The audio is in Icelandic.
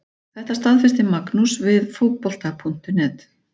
Þetta staðfesti Magnús við Fótbolta.net.